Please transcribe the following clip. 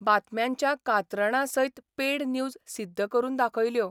बातम्यांच्या कात्रणांसयत paid news सिद्ध करून दाखयल्यो.